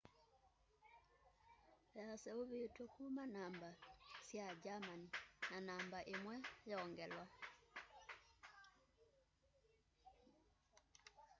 yaseuvitw'e kuma kwi namba sya germany na namba imwe ~o/~o” yongelwa